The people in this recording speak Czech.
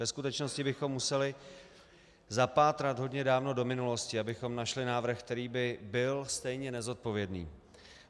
Ve skutečnosti bychom museli zapátrat hodně dávno do minulosti, abychom našli návrh, který by byl stejně nezodpovědný.